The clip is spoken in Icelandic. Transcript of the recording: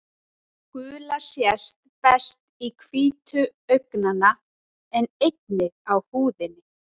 Gula sést best í hvítum augnanna en einnig á húðinni.